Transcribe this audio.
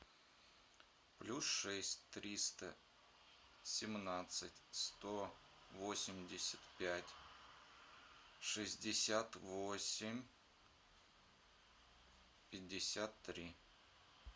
плюс шесть триста семнадцать сто восемьдесят пять шестьдесят восемь пятьдесят три